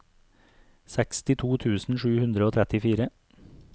sekstito tusen sju hundre og trettifire